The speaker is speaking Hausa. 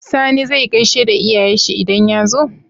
Sani zai gaishe da iyayen shi idan ya zo?